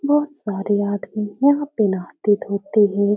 बोहोत सारे आदमी यहाँ पे नहाते धोते हैं।